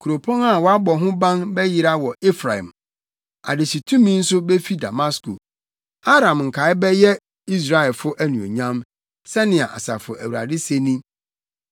Kuropɔn a wɔabɔ ho ban bɛyera wɔ Efraim, adehyetumi nso befi Damasko; Aram nkae bɛyɛ Israelfo anuonyam,” Sɛnea Asafo Awurade se ni.